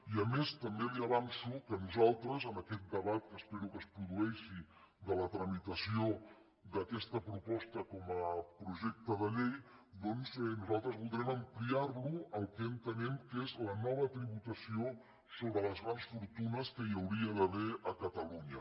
i a més també li avanço que nosaltres en aquest debat que espero que es produeixi de la tramitació d’aquesta proposta com a projecte de llei voldrem ampliar lo al que entenem que és la nova tributació sobre les grans fortunes que hi hauria d’haver a catalunya